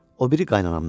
O biri qaynanamdan.